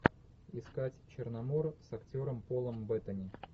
искать черномор с актером полом беттани